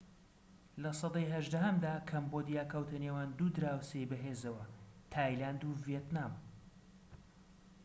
لە سەدەی هەژدەهەمدا کەمبۆدیا کەوتە نێوان دوو دراوسێی بەهێزەوە تایلاند و ڤێتنام